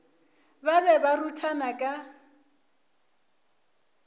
ba be ba ruthana ka